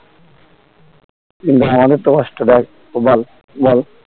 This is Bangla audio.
কিন্তু আমাদের তো কষ্ট দেয় ও বাল বল